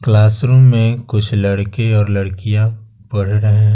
Classroom में कुछ लड़के और लड़कियां पढ़ रहे हैं।